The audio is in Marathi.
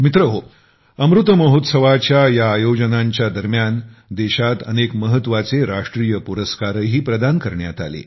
मित्रहो अमृत महोत्सवाच्या या आयोजनांच्या दरम्यान देशात अनेक महत्वाचे राष्ट्रीय पुरस्कारही प्रदान करण्यात आले